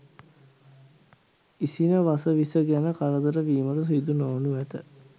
ඉසින වස විස ගැන කරදර වීමට සිදු නොවනු ඇත.